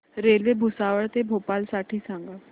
railway Bhusawal ते भोपाळ साठी सांगा